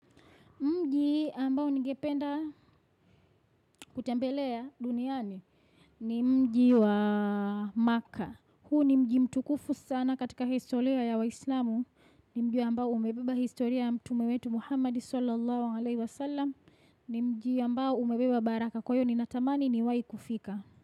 Mji ambao ningependa kutembelea duniani ni mji wa maka. Huu ni mji mtukufu sana katika historia ya waislamu. Ni mji ambao umebeba historia ya mtume wetu Muhammad Swalla Allahu alayhi wa sallam. Ni mji ambao umebeba baraka kwa hiyo ninatamani niwai kufika.